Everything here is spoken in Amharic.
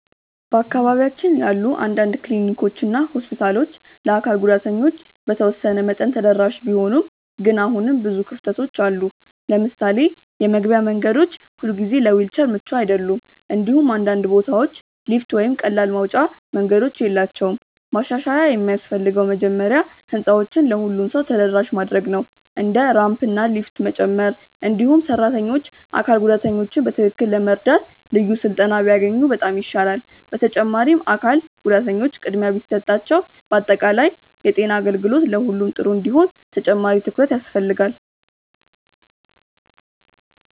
በአካባቢያችን ያሉ አንዳንድ ክሊኒኮች እና ሆስፒታሎች ለአካል ጉዳተኞች በተወሰነ መጠን ተደራሽ ቢሆኑም ግን አሁንም ብዙ ክፍተቶች አሉ። ለምሳሌ የመግቢያ መንገዶች ሁልጊዜ ለዊልቸር ምቹ አይደሉም፣ እንዲሁም አንዳንድ ቦታዎች ሊፍት ወይም ቀላል መውጫ መንገዶች የላቸውም። ማሻሻያ የሚያስፈልገው መጀመሪያ ህንፃዎችን ለሁሉም ሰው ተደራሽ ማድረግ ነው፣ እንደ ራምፕ እና ሊፍት መጨመር። እንዲሁም ሰራተኞች አካል ጉዳተኞችን በትክክል ለመርዳት ልዩ ስልጠና ቢያገኙ በጣም ይሻላል። በተጨማሪም አካል ጉዳተኞች ቅድሚያ ቢሰጣቸው በአጠቃላይ የጤና አገልግሎት ለሁሉም ጥሩ እንዲሆን ተጨማሪ ትኩረት ያስፈልጋል።